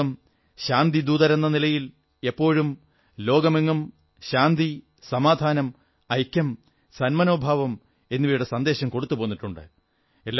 ഭാരതം ശാന്തിദൂതരെന്ന നിലയിൽ എപ്പോഴും ലോകമെങ്ങും ശാന്തി ഐക്യം സന്മനോഭാവം എന്നിവയുടെ സന്ദേശം നൽകിപ്പോന്നിട്ടുണ്ട്